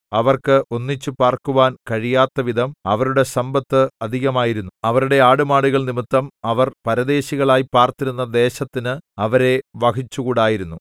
അവർക്ക് ഒന്നിച്ച് പാർക്കുവാൻ കഴിയാത്തവിധം അവരുടെ സമ്പത്ത് അധികമായിരുന്നു അവരുടെ ആടുമാടുകൾ നിമിത്തം അവർ പരദേശികളായി പാർത്തിരുന്ന ദേശത്തിന് അവരെ വഹിച്ചുകൂടായിരുന്നു